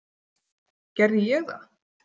Gerði ég það?